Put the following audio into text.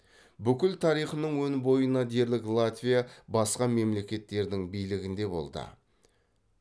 бүкіл тарихының өн бойына дерлік латвия басқа мемлекеттердің билігінде болды